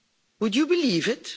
would you believe it?